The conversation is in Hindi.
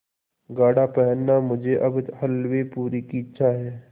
गाढ़ा पहनना मुझे अब हल्वेपूरी की इच्छा है